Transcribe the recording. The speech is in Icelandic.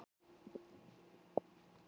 Eruð þið með?